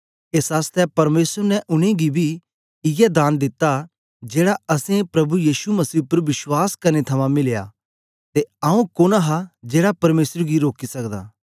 एस आसतै परमेसर ने उनेंगी बी इयै दान दिता जेड़ा असैं प्रभु यीशु मसीह उपर विश्वास करने थमां मिलया हा ते आंऊँ कुन्न हा जेहड़ा परमेसर गी रोकी सकदा